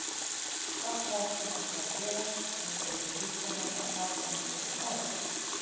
Það kvaðst hún ætla að gera, enda yrðu listamenn að taka einhverja áhættu.